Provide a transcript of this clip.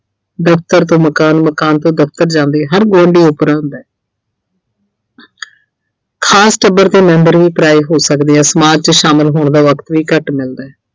ਦਫਤਰ ਤੋਂ ਮਕਾਨ, ਮਕਾਨ ਤੋਂ ਦਫਤਰ ਜਾਂਦੇ। ਹਰ ਗੁਆਂਢੀ ਓਪਰਾ ਹੁੰਦੈ ਖਾਸ ਟੱਬਰ ਦੇ member ਵੀ ਪਰਾਏ ਹੋ ਸਕਦੇ ਐ ਸਮਾਜ 'ਚ ਸ਼ਾਮਿਲ ਹੋਣ ਦਾ ਵਕਤ ਵੀ ਘੱਟ ਮਿਲਦੈ।